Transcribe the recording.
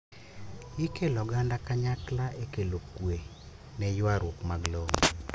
Ikelo oganda kanykla ekelo kwee neyuaruok mag lowo.